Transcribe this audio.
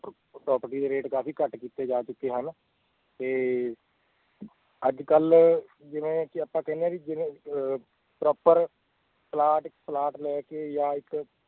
property ਦੇ rate ਕਾਫ਼ੀ ਘੱਟ ਕੀਤੇ ਜਾ ਚੁੱਕੇ ਹਨ ਤੇ ਅੱਜ ਕੱਲ੍ਹ ਜਿਵੇਂ ਕਿ ਆਪਾਂ ਕਹਿੰਦੇ ਹਾਂ ਕਿ ਜਿਵੇਂ ਅਹ proper ਪਲਾਟ ਪਲਾਟ ਲੈ ਕੇ ਜਾਂ ਇੱਕ